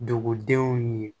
Dugudenw ye